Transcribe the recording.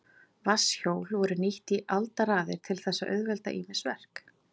Vatnshjól voru nýtt í aldaraðir til þess að auðvelda ýmis verk.